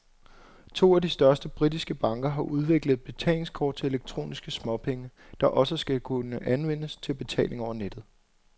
To af de største britiske banker har udviklet et betalingskort til elektroniske småpenge, der også skal kunne anvendes til betaling over nettet.